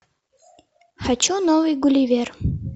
хочу новый гулливер